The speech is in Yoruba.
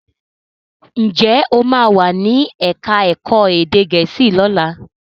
Njé o ma wá ní èka èko èdè gèésì lọla?